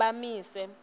bamise